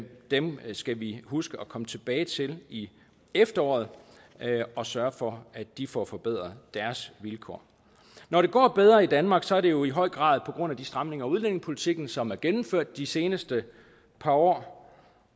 dem skal vi huske at komme tilbage til i efteråret og sørge for at de får forbedret deres vilkår når det går bedre i danmark er det jo i høj grad på grund af de stramninger af udlændingepolitikken som er gennemført de seneste par år